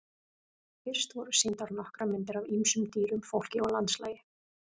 Fyrst voru sýndar nokkrar myndir af ýmsum dýrum, fólki og landslagi.